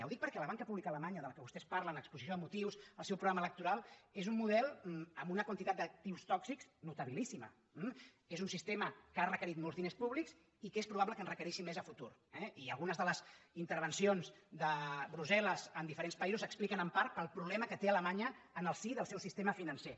ho dic perquè la banca pública alemanya de la qual vostès parlen en l’exposició de motius al seu programa electoral és un model amb una quantitat d’actius tòxics notabilíssima eh és un sistema que ha requerit molts diners públics i que és probable que en requereixi més a futur eh i algunes de les intervencions de brussel·les en diferents països s’expliquen en part pel problema que té alemanya en el si del seu sistema financer